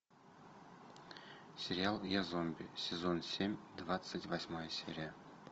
сериал я зомби сезон семь двадцать восьмая серия